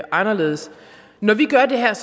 anderledes når vi gør det her er